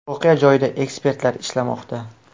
Voqea joyida ekspertlar ishlamoqda.